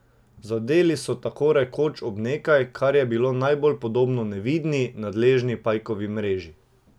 Zadeli so tako rekoč ob nekaj, kar je bilo najbolj podobno nevidni, nadležni pajkovi mreži.